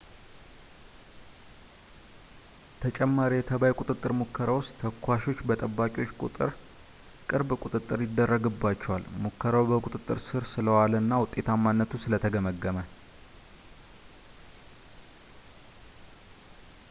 ተጨማሪ የተባይ ቁጥጥር ሙከራ ውስጥ ተኳሾች በጠባቂዎች ቅርብ ቁጥጥር ይደረግባቸዋል ሙከራው በቁጥጥር ሥር ስለ ዋለ እና ውጤታማነቱ ስለ ተገመገመ